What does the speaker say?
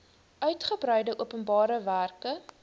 uitgebreide openbare werke